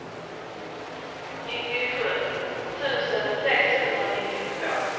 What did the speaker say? nittiosju tusen sexhundranittiotvå